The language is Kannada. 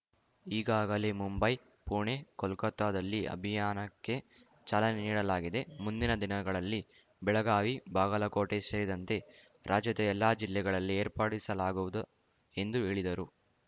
ಈಗಾಗಲೇ ಮುಂಬೈ ಪುಣೆ ಕೊಲ್ಕತ್ತಾದಲ್ಲಿ ಅಭಿಯಾನಕ್ಕೆ ಚಾಲನೆ ನೀಡಲಾಗಿದೆ ಮುಂದಿನ ದಿನಗಳಲ್ಲಿ ಬೆಳಗಾವಿ ಬಾಗಲಕೋಟೆ ಸೇರಿದಂತೆ ರಾಜ್ಯದ ಎಲ್ಲ ಜಿಲ್ಲೆಗಳಲ್ಲಿ ಏರ್ಪಡಿಸಲಾಗುವುದು ಎಂದು ಹೇಳಿದರು